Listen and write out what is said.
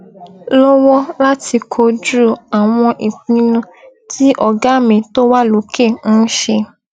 lọwọ láti kojú àwọn ìpinnu tí ọgá mi tó wà lókè ń ṣe